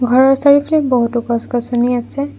ঘৰৰ চাৰিওফালে বহুতো গছ গছনি আছে।